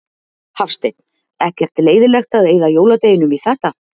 Hafsteinn: Ekkert leiðilegt að eyða jóladeginum í þetta?